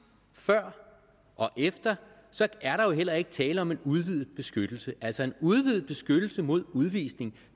før og efter er der jo heller ikke tale om en udvidet beskyttelse altså en udvidet beskyttelse mod udvisning